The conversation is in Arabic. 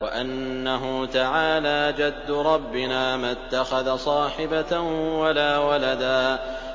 وَأَنَّهُ تَعَالَىٰ جَدُّ رَبِّنَا مَا اتَّخَذَ صَاحِبَةً وَلَا وَلَدًا